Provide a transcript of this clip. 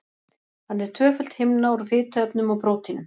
Hann er tvöföld himna úr fituefnum og prótínum.